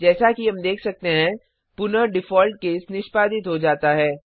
जैसा कि हम देख सकते हैं पुनः डिफॉल्ट केस निष्पादित हो जाता है